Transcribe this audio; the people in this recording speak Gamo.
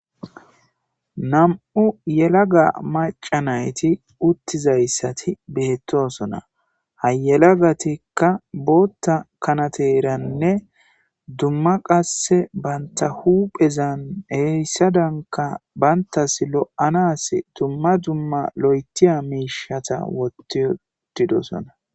Nam'u yelaga macca nayti uttizayssati beettosona. Ha yelagatikka bootta kanateeramne dumma qasseka banta huphphezan heyssadanikka bantas lo'anadan dumma dumma lo'itiya miishshata wotti uttidosona.